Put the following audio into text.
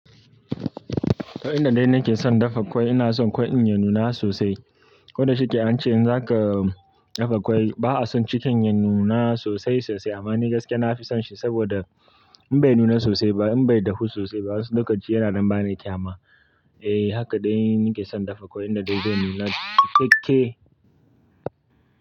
Eh, ina dai nake son dafa kwai. Ina son kwai in yi nuna sosai. Koda shike ance in zaka dafa kwai, ba a son cikin yi nuna sosai sosai. Amma ni gaskiya na fi son shi saboda in bai nuna sosai ba, in bai dahu sosai ba, wasu lokaci yana dan ba ni kyama. Eh haka dai nike son dafa kwai, inda dai zan nuna cikkake.